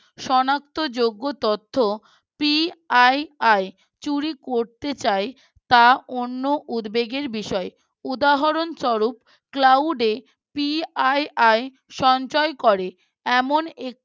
সনাক্ত যোগ্য তথ্য PII চুরি করতে চায় তা অন্য উদ্বেগের বিষয় উদাহরণ স্বরূপ Cloud এ PII সঞ্চয় করে এমন